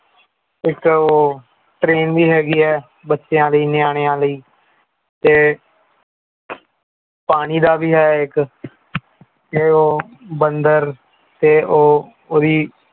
ਇਕ ਉਹ train ਵੀ ਹੈਗੀ ਐ ਬੱਚਿਆਂ ਦੀ ਨਿਆਣਿਆਂਲਈ ਤੇ ਪਾਣੀ ਦਾ ਵੀ ਹੈ ਇਕ ਤੇ ਉਹ ਬੰਦਰ ਇਹ ਉਹੋ ਉਹ ਵੀ